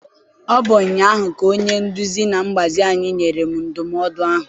Ọ bụ ụnyaahụ ka onye nduzi na mgbazi anyị nyere m ndụmọdụ ahụ.